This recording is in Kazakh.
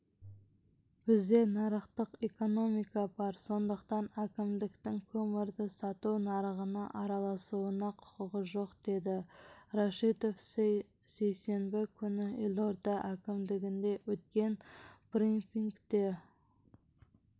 бізде нарықтық экономика бар сондықтан әкімдіктің көмірді сату нарығына араласуына құқығы жоқ деді рашитов сейсенбі күні елорда әкімдігінде өткен брифингте